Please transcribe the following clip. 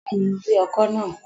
Bẹ́ẹ̀ni, mo rí ọkọ̀ náà